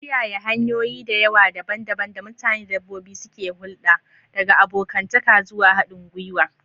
Kiyaye hanyoyi da yawa daban-daban da mutane da dabbobi suke hulɗa, daga abokantaka zuwa haɗin gwiwa.